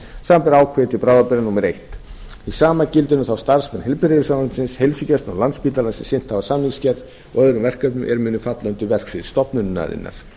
samanber ákvæði til bráðabirgða númer eitt hið sama gildir um þá starfsmenn heilbrigðisráðuneytis heilsugæslunnar og landspítala sem sinnt hafa samningsgerð og öðrum verkefnum er munu falla undir verksvið stofnunarinnar